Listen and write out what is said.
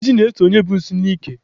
Ijiji na-eso onye bu nsị n'ike.